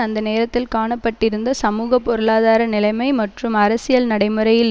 அந்த நேரத்தில் காணப்பட்டிருந்த சமூக பொருளாதார நிலைமை மற்றும் அரசியல் நடைமுறையில்